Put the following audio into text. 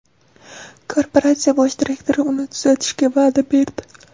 Korporatsiya bosh direktori uni tuzatishga va’da berdi.